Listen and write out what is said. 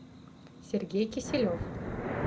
сергей киселев